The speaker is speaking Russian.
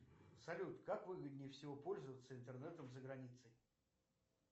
салют как выгоднее всего пользоваться интернетом за границей